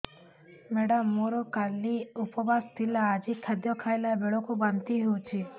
madam ମୋର କାଲି ଉପବାସ ଥିଲା ଆଜି ଖାଦ୍ୟ ଖାଇଲା ବେଳକୁ ବାନ୍ତି ହେଊଛି